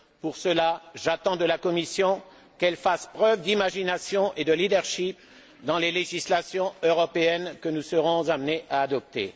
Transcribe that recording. Pour cela, j'attends de la Commission qu'elle fasse preuve d'imagination et de leadership dans les législations européennes que nous serons amenés à adopter.